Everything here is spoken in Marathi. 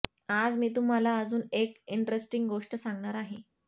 आज मी तुम्हाला अजुन एक इंट्रेस्टींग गोष्ट सांगणार आहे